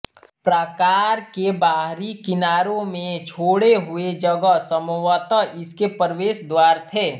प्राकार के बाहरी किनारों में छोड़े हुए जगह संभवतः इसके प्रवेशद्वार थे